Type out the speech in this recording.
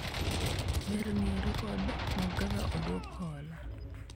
ber ng'iyo rekod mag kaka odwok hola